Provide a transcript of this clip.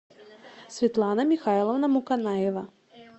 светлана михайловна муканаева